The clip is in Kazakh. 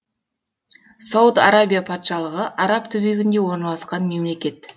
сауд арабия патшалығы араб түбегінде орналасқан мемлекет